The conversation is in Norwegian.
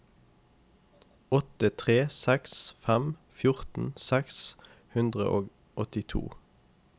åtte tre seks fem fjorten seks hundre og åttito